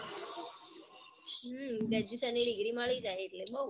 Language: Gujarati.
હમ graduation ની degree મળી જાય એટલે બૌ